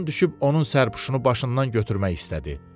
Addan düşüb onun sərpüşünü başından götürmək istədi.